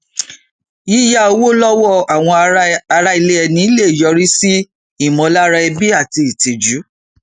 yíyà owó lọwọ àwọn ará ilẹ ẹni lè yọrí sí ìmọlára ẹbi àti ìtìjú